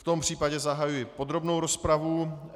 V tom případě zahajuji podrobnou rozpravu.